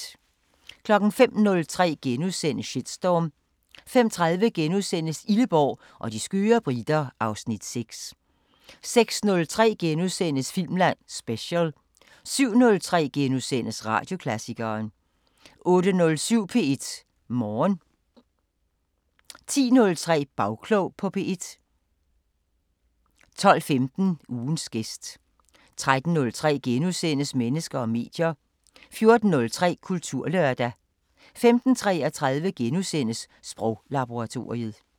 05:03: Shitstorm * 05:30: Illeborg og de skøre briter (Afs. 6)* 06:03: Filmland Special * 07:03: Radioklassikeren * 08:07: P1 Morgen 10:03: Bagklog på P1 12:15: Ugens gæst 13:03: Mennesker og medier * 14:03: Kulturlørdag 15:33: Sproglaboratoriet *